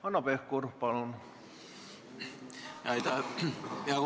Hanno Pevkur, palun!